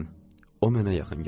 O mənə yaxın gəldi.